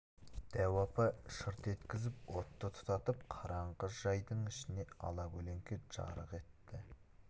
дәу апа шырт еткізіп отты тұтатып қараңғы жайдың ішін ала көлеңке жарық етті